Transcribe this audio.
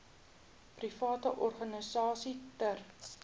private organisasies ter